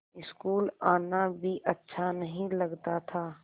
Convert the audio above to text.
school आना भी अच्छा नहीं लगता था